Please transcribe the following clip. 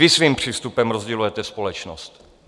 Vy svým přístupem rozdělujete společnost.